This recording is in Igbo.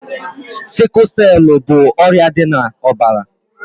Siku selu bụ ọrịa dị na ọbara